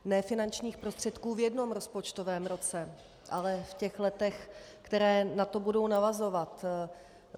Ne finančních prostředků v jednom rozpočtovém roce, ale v těch letech, která na to budou navazovat.